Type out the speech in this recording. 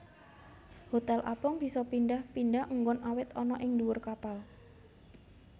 Hotel apung bisa pindhah pindhah enggon awit ana ing ndhuwur kapal